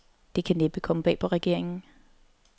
Det kan næppe komme bag på regeringen.